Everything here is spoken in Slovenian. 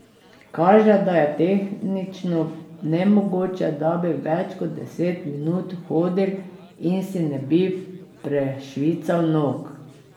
Kaže, da je tehnično nemogoče, da bi več kot deset minut hodil in si ne bi prešvical nog.